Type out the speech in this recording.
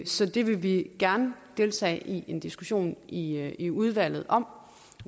så det vil vi gerne deltage i en diskussion i i udvalget om